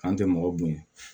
An tɛ mɔgɔ bonya